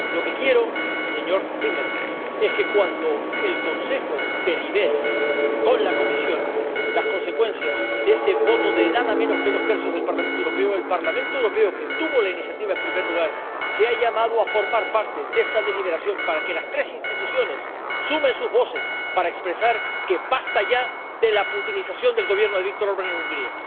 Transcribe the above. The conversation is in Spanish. Lo que quiero, señor Timermans, es que, cuando el Consejo delibere con la Comisión sobre las consecuencias de ese voto de nada menos que dos tercios del Parlamento Europeo, el Parlamento Europeo —que tuvo la iniciativa en primer lugar— sea llamado a participar en esa deliberación, y que las tres instituciones sumen sus voces para decir que ya basta de la putinización del Gobierno de Viktor Orbán en Hungría.